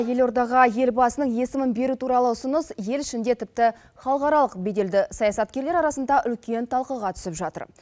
елордаға елбасының есімін беру туралы ұсыныс ел ішінде тіпті халықаралық беделді саясаткерлер арасында үлкен талқыға түсіп жатыр